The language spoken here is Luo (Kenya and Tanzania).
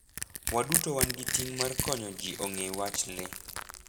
Waduto wan gi ting' mar konyo ji ong'e wach le.